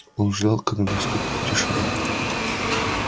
он ждал когда наступит тишина